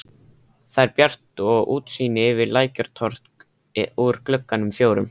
Þar er bjart og útsýni yfir Lækjartorg úr gluggunum fjórum.